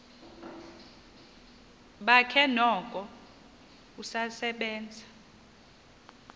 bakhe noko usasebenza